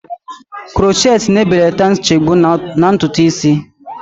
Krochet na-ebelata nchegbu na ntutu isi